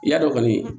I y'a dɔn kɔni